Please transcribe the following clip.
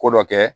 Ko dɔ kɛ